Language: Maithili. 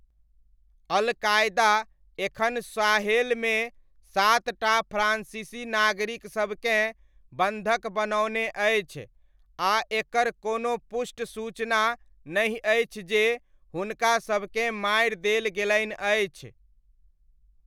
अल कायदा एखन साहेलमे सातटा फ्रान्सीसी नागरिकसभकेँ बन्धक बनओने अछि आ एकर कोनो पुष्ट सूचना नहि अछि जे हुनका सबकेँ मारि देल गेलनि अछि।